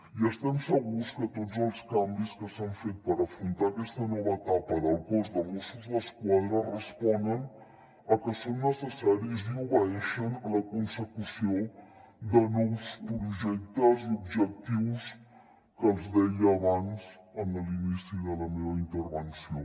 i estem segurs que tots els canvis que s’han fet per afrontar aquesta nova etapa del cos de mossos d’esquadra responen a que són necessaris i obeeixen a la consecució de nous projectes i objectius que els deia abans en l’inici de la meva intervenció